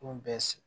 bɛɛ sigi